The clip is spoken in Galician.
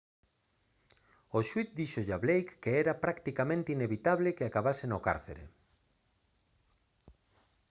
o xuíz díxolle a blake que era «practicamente inevitable» que acabase no cárcere